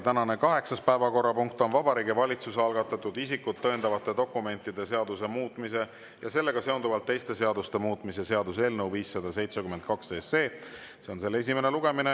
Tänane kaheksas päevakorrapunkt on Vabariigi Valitsuse algatatud isikut tõendavate dokumentide seaduse muutmise ja sellega seonduvalt teiste seaduste muutmise seaduse eelnõu 572 esimene lugemine.